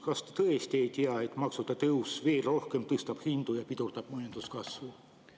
Kas te tõesti ei tea, et maksude tõus veel rohkem tõstab hindu ja pidurdab majanduskasvu?